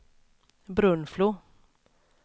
Brunflo